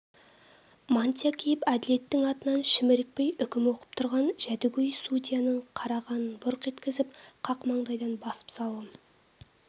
мантия киіп әділеттің атынан шімірікпей үкім оқып тұрған жәдігөй судияны қара қанын бұрқ еткізіп қақ маңдайдан басып салғым